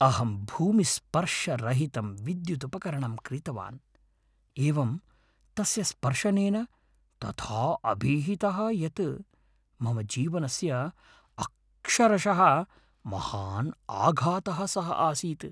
अहं भूमिस्पर्शरहितं विद्यु्दुपकरणं क्रीतवान्। एवं तस्य स्पर्शनेन तथा अभिहतः यत् मम जीवनस्य अक्षरशः महान् आघातः सः आसीत् ।